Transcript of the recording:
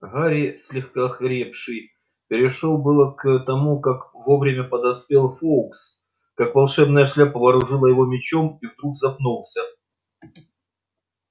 гарри слегка охрипший перешёл было к тому как вовремя подоспел фоукс как волшебная шляпа вооружила его мечом и вдруг запнулся